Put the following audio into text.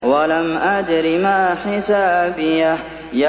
وَلَمْ أَدْرِ مَا حِسَابِيَهْ